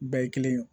Bɛɛ ye kelen ye